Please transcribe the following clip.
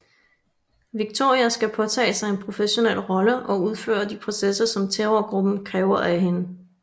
Victoria skal påtage sig en professionel rolle og udføre de processer som terrorgruppen kræver af hende